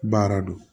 Baara don